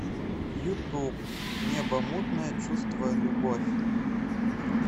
ютуб небомутное чувство любовь